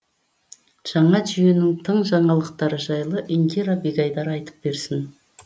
жаңа жүйенің тың жаңалықтары жайлы индира бегайдар айтып берсін